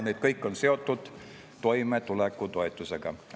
Need kõik on seotud toimetulekutoetusega.